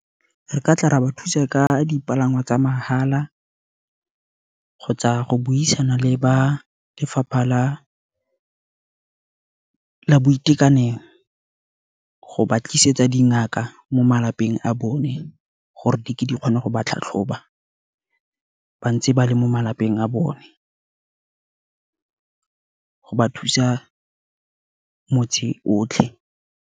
Re ka tla ba thusa ka dipalangwa tsa mahala, kgotsa go buisana le ba lefapha la boitekanelo, go ba tlisetsa dingaka mo malapeng a bone, gore di ke di kgone go ba tlhatlhoba ba ntse ba le mo malapeng a bone, go ba thusa motse otlhe.